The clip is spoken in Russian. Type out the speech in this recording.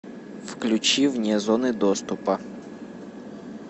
включи вне зоны доступа